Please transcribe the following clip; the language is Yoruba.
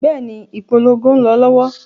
Bẹ́ẹ̀ni, ìpolongo ń lọ lọ́wọ́.